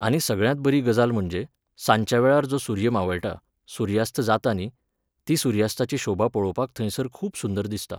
आनी सगळ्यांत बरी गजाल म्हणजे, सांच्या वेळार जो सुर्य मावळटा, सुर्यास्त जाता न्ही, ती सुर्यास्ताची शोभा पळोवपाक थंयसर खूब सुंदर दिसता.